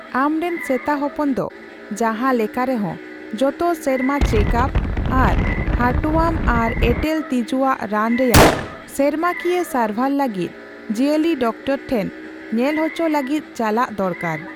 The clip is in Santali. ᱟᱢᱨᱮᱱ ᱥᱮᱛᱟᱦᱚᱯᱚᱱ ᱫᱚ ᱡᱟᱦᱟᱸ ᱞᱮᱠᱟᱨᱮᱦᱚᱸ ᱡᱚᱛᱚ ᱥᱮᱨᱢᱟ ᱪᱮᱠᱼᱟᱯ ᱟᱨ ᱦᱟᱨᱴᱳᱣᱟᱢ ᱟᱨ ᱮᱸᱴᱮᱞ ᱛᱤᱡᱩᱣᱟᱜ ᱨᱟᱱ ᱨᱮᱭᱟᱜ ᱥᱮᱨᱢᱟᱠᱤᱭᱟᱹ ᱥᱟᱨᱵᱷᱟᱨ ᱞᱟᱹᱜᱤᱫ ᱡᱤᱭᱟᱹᱞᱤᱰᱟᱠᱛᱚᱨ ᱴᱷᱮᱱ ᱧᱮᱞᱚᱪᱚ ᱞᱟᱹᱜᱤᱫ ᱪᱟᱞᱟᱜ ᱫᱚᱨᱠᱟᱨ ᱾